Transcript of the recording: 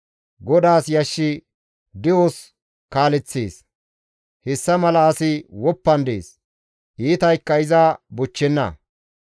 GODAAS yashshi de7os kaaleththees; hessa mala asi woppan dees; iitaykka iza bochchenna.